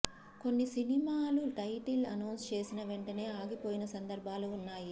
కొన్ని సినిమాలు title announce చేసిన వెంటనే ఆగిపోయిన సందర్భాలు ఉన్నాయి